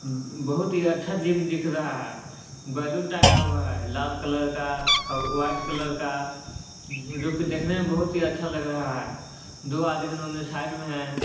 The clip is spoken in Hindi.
बहुत ही अच्छा जिम दिख रहा है बैलून टागा हुआ है लाल कलर का वाइट कलर का जो कि देखने मे बहुत ही अच्छा लग रहा है दो आदमी इन्होंने साइड में है।